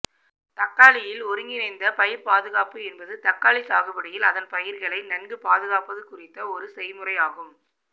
தக்காளியில் ஒருங்கிணைந்த பயிர் பாதுகாப்பு என்பது தக்காளி சாகுபடியில் அதன் பயிர்களை நன்கு பாதுகாப்பது குறித்த ஒரு செய்முறையாகும்